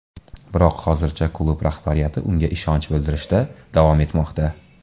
Biroq hozircha klub rahbariyati unga ishonch bildirishda davom etmoqda.